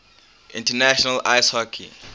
international ice hockey